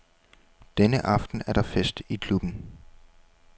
Denne aften er der fest i klubben.